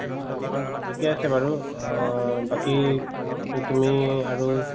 এতিয়া চাবাচোন অ বাকি তু~ তুমি আৰু